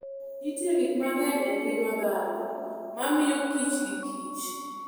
Nitie gik mang'eny e ngima dhano ma miyo kich gi kich.